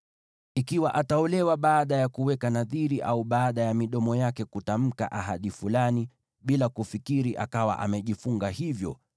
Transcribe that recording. “Ikiwa ataolewa baada ya kuweka nadhiri au baada ya midomo yake kutamka ahadi fulani bila kufikiri akawa amejifunga hivyo,